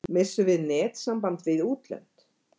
Missum við netsamband við útlönd?